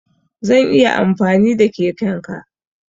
Zan iya amfani da keken ka?